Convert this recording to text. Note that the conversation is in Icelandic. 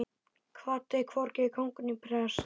Kvaddi hvorki kóng né prest.